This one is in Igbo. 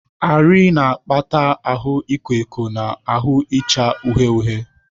Arị na-akpata ahụ ịkọ ọkọ na ahụ icha uhie uhie.